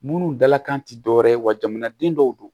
Munnu dalakan ti dɔwɛrɛ ye wa jamanaden dɔw don